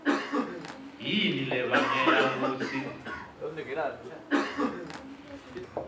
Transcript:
yini lebangela kutsi